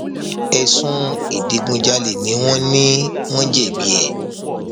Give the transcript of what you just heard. ẹsùn ìdígunjalè ni wọn ní wọn jẹbi ẹ